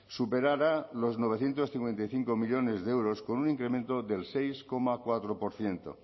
superará los novecientos cincuenta y cinco millónes de euros con un incremento del seis coma cuatro por ciento